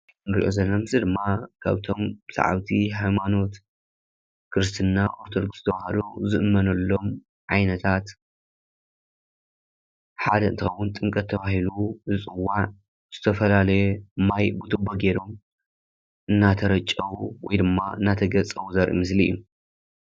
እንሪኦ ዘለና ምስሊ ድማ ካብቶም ሳዓብቲ ሃይማኖት ክርስትና ኣርቶዶክስ ተዋህዶ ዝእመነሎም ዓይነታት ሓደ እንትኮን ጥምቀት ተባሂሉ ዝፅዋዕ ዝተፈላለየ ማይ ብትቦ ገይሮም እናተረጨው ወይ ድማ እናተገፀቡ ዘርኢ ምስሊ እዩ።